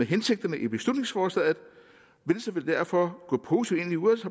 hensigterne i beslutningsforslaget venstre vil derfor gå positivt